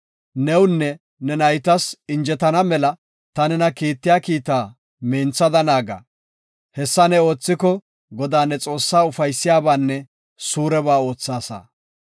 Newunne ne naytas injetana mela ta nena kiittiya kiitaa minthada naaga. Hessa ne oothiko, Godaa ne Xoossaa ufaysiyabaanne suureba oothaasa.